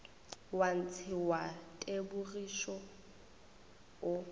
wa ntshe wa tebogišo o